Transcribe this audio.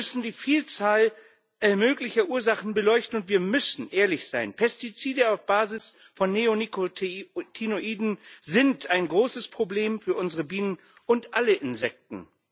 Wir müssen die Vielzahl möglicher Ursachen beleuchten, und wir müssen ehrlich sein Pestizide auf Basis von Neonikotinoiden sind ein großes Problem für unsere Bienen und alle Insekten.